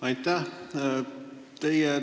Aitäh!